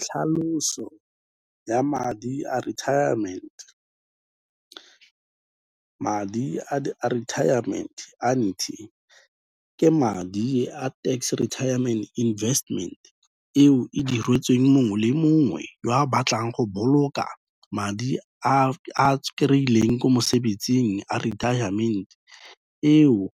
Tlhaloso ya madi a retirement, madi a retirement annuity, ke madi a tax-retirement investment eo e diretsweng mongwe le mongwe o a batlang go boloka madi a kry-ileng ko mosebetsing a retirement eo